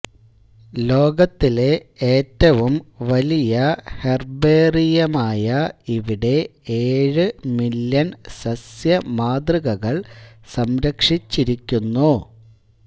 ലോകത്തിലെ ഏറ്റവും വലിയ ഹെർബേറിയമായ ഇവിടെ ഏഴ് മില്യൺ സസ്യമാതൃകകൾ സംരക്ഷിച്ചിരിക്കുന്നു